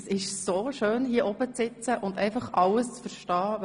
Es ist so schön, hier oben zu sitzen und einfach alles zu verstehen.